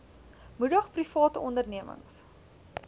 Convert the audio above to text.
moedig private ondernemings